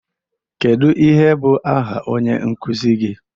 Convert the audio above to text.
Kedụ ihe bụ áhà onye nkụzi gị?